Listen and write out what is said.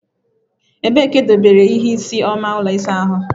Ebee ka edobere ihe isii oma ụlọ ịsa ahụ?